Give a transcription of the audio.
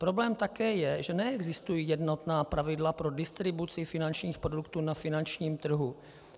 Problém také je, že neexistují jednotná pravidla pro distribuci finančních produktů na finančním trhu.